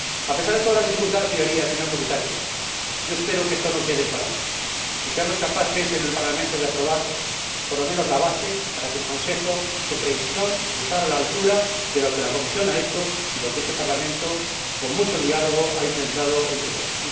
A pesar de todas las dificultades, señorías, señor Comisario ―yo espero que esto no quede en palabras―, seamos capaces en el Parlamento de aprobar por lo menos la base, para que el Consejo esté a la altura de lo que la Comisión ha hecho y lo que este Parlamento, con mucho diálogo, ha intentado entre todos.